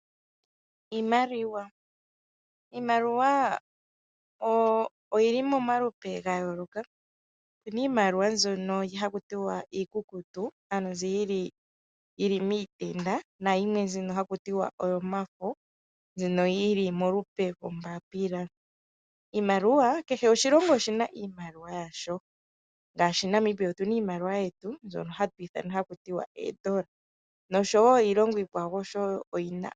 Iimaliwa, iimaliwa oyili momalupe gayooloka opuna iimaliwa mbyono haku tiwa iikukutu ano nzi yili miitenda nayimwe mbyono haku tiwa oyomafo yili molupe loombapila. Kehe oshilongo oshina iimaliwa yasho ngaashi Namibia otuna iimaliwa yetu mbyono haku tiwa oodola, noshowo iilongo iikwawo oyina.